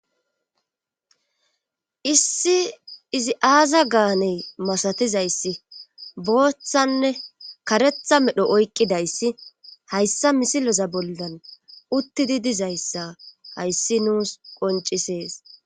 Issi izi aaza gaane masatizayssi boothanne kareetha medho oyqqidayssi hayssa msileza bollan uttidi dizayssa hayssi nuusu qonccisees.